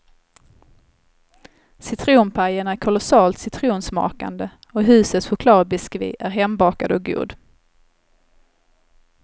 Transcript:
Citronpajen är kolossalt citronsmakande, och husets chokladbiskvi är hembakad och god.